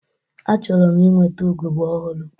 Achọrọ m ịnweta ugogbe ọhụrụ.